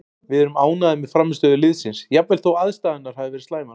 Við erum ánægðir með frammistöðu liðsins jafnvel þó aðstæðurnar hafi verið slæmar,